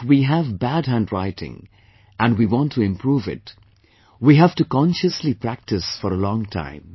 If we have bad handwriting, and we want to improve it, we have to consciously practice for a long time